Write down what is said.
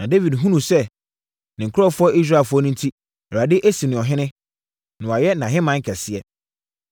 Na Dawid hunuu sɛ, ne nkurɔfoɔ Israelfoɔ enti, Awurade asi no ɔhene, na wayɛ nʼahemman kɛseɛ.